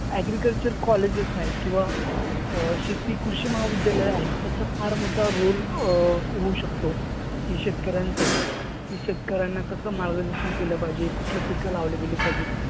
Agriculture colleges आहेत किंवा अं शेती, कृषी महाविद्यालयं आहेत त्याचा फार मोठा roll अं होऊ शकतो की शेतकऱ्यांसाठी. शेतकऱ्यांना कसं मार्गदर्शन केलं पाहिजे? कुठली पिकं लावली गेली पाहिजेत?